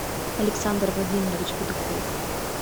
александр владимирович петухов